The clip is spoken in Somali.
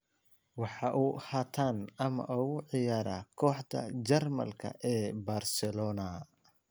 Waxa uu haatan amaah ugu ciyaara kooxda Jarmalka ee Barcelona.